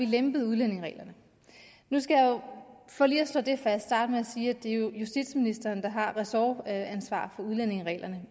lempet udlændingereglerne nu skal jeg for lige at slå det fast starte med at sige at det jo er justitsministeren der har ressortansvaret for udlændingereglerne og